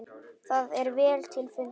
Það er vel til fundið.